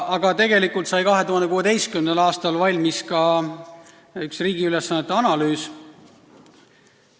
Aga tegelikult sai 2016. aastal valmis ka üks riigi ülesannete analüüs.